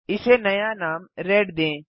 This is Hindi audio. इसे नया नाम रेड दें